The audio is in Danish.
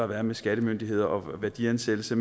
været med skattemyndigheder om værdiansættelse